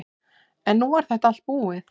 En nú var þetta allt búið.